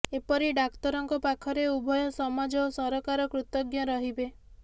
ଏପରି ଡାକ୍ତରଙ୍କ ପାଖରେ ଉଭୟ ସମାଜ ଓ ସରକାର କୃତଜ୍ଞ ରହିବେ